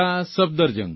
Safdarjung